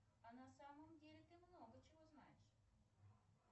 а на самом деле ты много чего знаешь